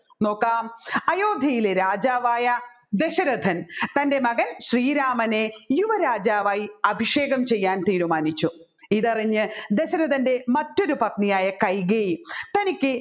നോകാം അയോധ്യയിലെ രാജാവായ ദശരഥൻ തൻ്റെ മകൻ ശ്രീരാമനെ യുവരാജാവായി അഭിഷേകം ചെയ്യാൻ തീരുമാനിച്ചു ഇതറിഞ്ഞ ദശരഥൻറെ മറ്റൊരു പത്നിയായ കൈകേയി തനിക്ക്